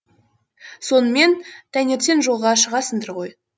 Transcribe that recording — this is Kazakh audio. сонымен таңертең жолға шығасыңдар ғой